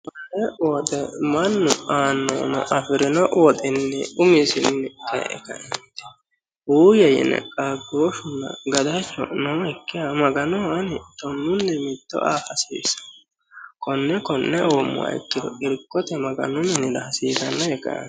Eemmo woyiite mannu aannohuno afirino woxini umisino ee kae uyiye yine qaagoshunna gadadu nookkiha maganoho Ani tonnuni mitto aa hasiissano konne konne uummoha ikkiro irkote maganu minira hasiisano yee kae